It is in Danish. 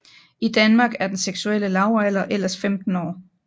I Danmark er den seksuelle lavalder ellers 15 år